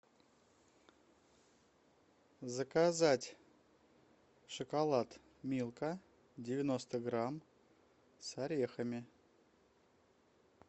заказать шоколад милка девяносто грамм с орехами